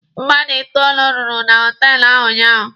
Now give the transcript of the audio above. Mmadụ itoolu rụrụ na họtelụ ahụ ụnyaahụ.